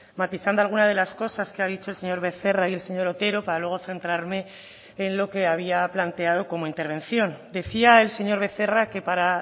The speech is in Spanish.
matizando alguna de las cosas que ha dicho el señor becerra y el señor otero para luego centrarme en lo que había planteado como intervención decía el señor becerra que para